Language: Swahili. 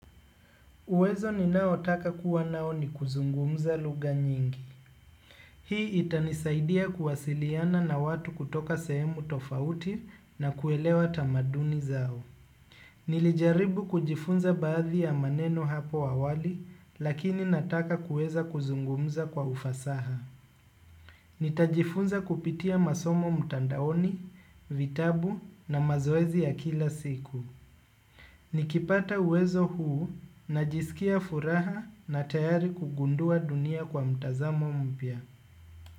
Uweza ninayotaka kuwa nao ni kuzungumza lugha nyingi. Hii itanisaidia kuwasiliana na watu kutoka sehemu tofauti na kuelewa tamaduni zao. Nilijaribu kujifunza baadhi ya maneno hapo awali, lakini nataka kuweza kuzungumza kwa ufasaha. Nitajifunza kupitia masomo mtandaoni, vitabu na mazoezi ya kila siku. Nikipata uwezo huu, najisikia furaha na tayari kugundua dunia kwa mtazamo mpya.